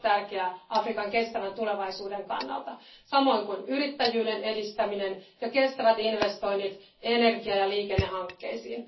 Se on tärkeää Afrikan kestävän tulevaisuuden kannalta samoin kuin yrittäjyyden edistäminen ja kestävät investoinnit energia ja liikennehankkeisiin.